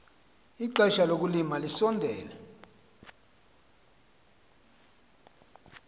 ixesha lokulima lisondele